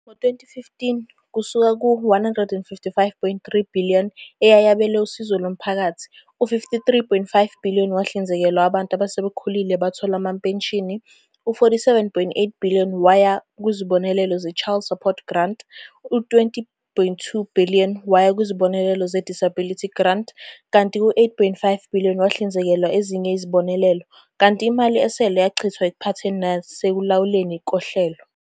Ngo-2015, kusuka ku-R155.3 billion eyayabelwe usizo lomphakathi, u-R53.5 billion wahlinzekelwa abantu asebekhulile abathola ama-penshini, u-R47.8 billion waya kuzibonelelo ze-Child Support Grant, u-R20.2 billion waya kuzibonelelo ze-Disability Grant, kanti u-R8.5 billion wahlinzekwa ezinye izibonelelo, kanti imali esele yachithwa ekuphathweni nasekulawulweni kohlelo.